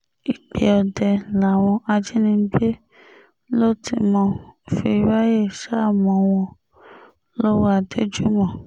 igbe ọdẹ làwọn ajínigbé ló ti mo fi ráàyè sá mọ́ wọn lọ́wọ́ adéjúmọ̀